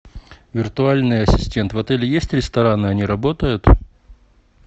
виртуальный ассистент в отеле есть рестораны они работают